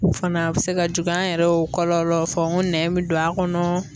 O fana bɛ se ka juguya, an yɛrɛ y'o kɔlɔlɔ fɔ n ko nɛn bɛ don a kɔnɔ.